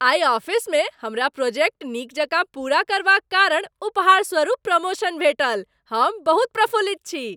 आइ ऑफिसमे हमरा प्रोजेक्ट नीक जकाँ पूरा करबाक कारण उपहार स्वरुप प्रमोशन भेटल, हम बहुत प्रफुल्लित छी।